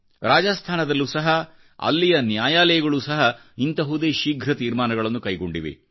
ರಾಜಾಸ್ಥಾನದಲ್ಲೂ ಸಹ ಅಲ್ಲಿಯ ನ್ಯಾಯಾಲಯಗಳೂ ಸಹ ಇಂತಹದೇ ಶೀಘ್ರ ತೀರ್ಮಾನಗಳನ್ನುಕೈಗೊಂಡಿವೆ